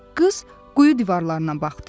Qız quyu divarlarına baxdı.